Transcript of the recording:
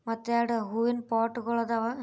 ಮತ್ತೆ ಎರಡು ಹೂವಿನ ಪಾಟ್ ಗಳ್ ಅದಾವ.